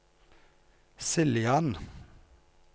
Siljan